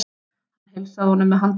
Hann heilsaði honum með handabandi.